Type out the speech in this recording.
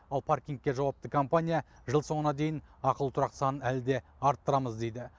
ал паркингке жауапты компания жыл соңына дейін ақылы тұрақ санын әлі де арттырамыз дейді